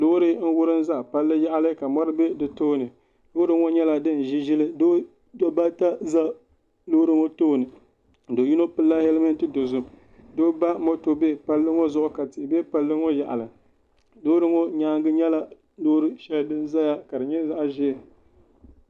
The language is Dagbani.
Loori n wurim ʒɛ palli yaɣali ka mɔri ʒɛ di tooni loori ŋɔ nyɛla din ʒi ʒili dabba ata ʒɛ loori ŋɔ tooni do yino pilila hɛlmɛnt dozim doo ba moto bɛ palli ŋɔ zuɣu ka tihi bɛ palli ŋɔ yaɣali loori ŋɔ nyaangi nyɛla loori shɛli din ʒɛya ka di nyɛ zaɣ ʒiɛ